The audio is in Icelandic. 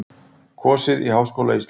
Kosið í Háskóla Íslands